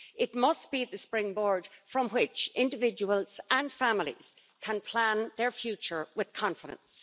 It must be the springboard from which individuals and families can plan their future with confidence.